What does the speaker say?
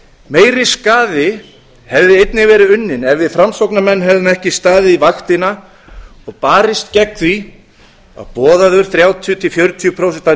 meiri skaði hefði einnig verið unninn ef við framsóknarmenn hefðum ekki staðið vaktina og barist gegn því að boðaður þrjátíu til fjörutíu prósent